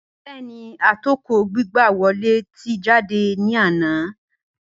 Bẹẹni, atokọ gbigba wọle ti jade ni ana.